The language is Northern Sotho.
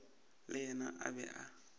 le yena a be a